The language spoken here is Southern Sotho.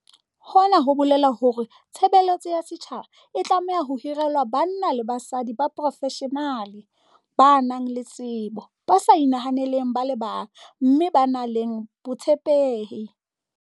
Hona ho bolela hore tshe beletso ya setjhaba e tlameha ho hirelwa banna le basadi ba profeshenale, ba nang le tsebo, ba sa inahaneleng ba le bang mme ba nang le botshepehi.